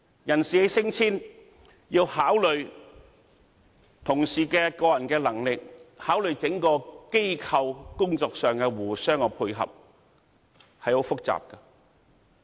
人事的升遷要考慮同事的個人能力，考慮整個機構工作上的互相配合，相當複雜。